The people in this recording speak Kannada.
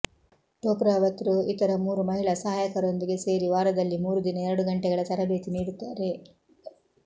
ಟೋಕ್ರಾವತ್ ರು ಇತರ ಮೂರು ಮಹಿಳಾ ಸಹಾಯಕರೊಂದಿಗೆ ಸೇರಿ ವಾರದಲ್ಲಿ ಮೂರುದಿನ ಎರಡು ಗಂಟೆಗಳ ತರಬೇತಿ ನೀಡುತ್ತಾರೆ